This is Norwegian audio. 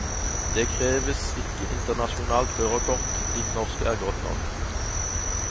Det kreves ikke internasjonalt førerkort, ditt norske er godt nok.